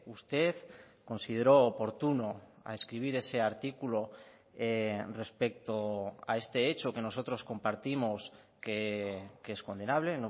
usted consideró oportuno a escribir ese artículo respecto a este hecho que nosotros compartimos que es condenable